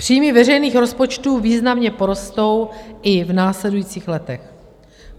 Příjmy veřejných rozpočtů významně porostou i v následujících letech.